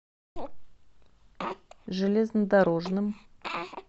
железнодорожным